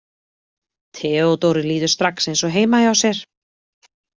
Theodóru líður strax eins og heima hjá sér.